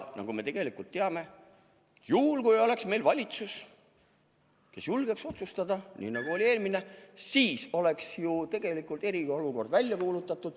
Me teame, et kui meil oleks valitsus, kes julgeks otsustada – nii nagu oli eelmine –, siis oleks tegelikult eriolukord välja kuulutatud.